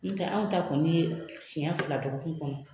Nittɛ anw ta kɔni ye siɲɛ fila dɔgɔkun kɔnɔ.